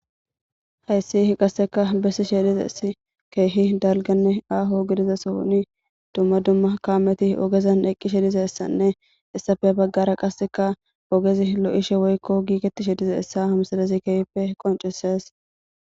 Heyssih qaseka bessi she dize si keehi daliganne aaho gidiza sooni dumma dumma kaameti ogezan eqqishe dizeessanne issafe baggara qasseka ogezi lo7ishe woykko giiketishe dize essa hamsadezi keehpfe qoncisees